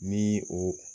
Ni o